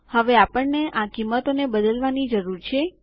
હવે આપણને આ કિંમતોને બદલવાની જરૂર છે